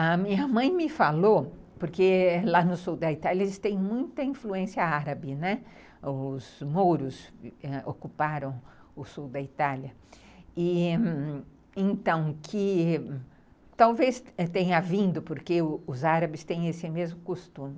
A minha mãe me falou, porque lá no sul da Itália eles têm muita influência árabe, né, os mouros ocuparam o sul da Itália, então que talvez tenha vindo porque os árabes têm esse mesmo costume.